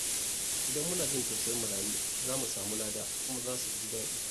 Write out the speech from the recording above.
Idan muna jin tausayin marayu, za mu samu lada kuma mu sa su ji daɗi.